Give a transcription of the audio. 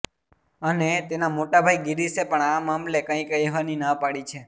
અને તેના મોટા ભાઇ ગિરીશે પણ આ મામલે કંઇ કહેવાની ના પાડી છે